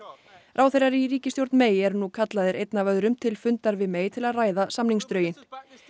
ráðherrar í ríkisstjórn eru nú kallaðir einn af öðrum til fundar við til að ræða samningsdrögin